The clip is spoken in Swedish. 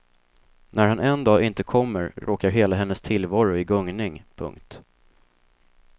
När han en dag inte kommer råkar hela hennes tillvaro i gungning. punkt